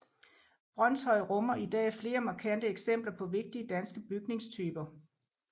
Brønshøj rummer i dag flere markante eksempler på vigtige danske bygningstyper